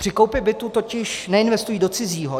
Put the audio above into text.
Při koupi bytu totiž neinvestují do cizího.